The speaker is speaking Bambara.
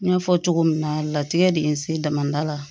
N y'a fɔ cogo min na latigɛ de ye n se damadala